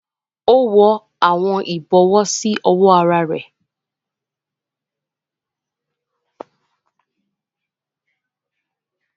O wọ awọn ibọwọ si ọwọ àrà rẹ